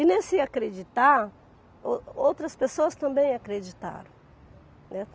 E nesse acreditar, o outras pessoas também acreditaram, né.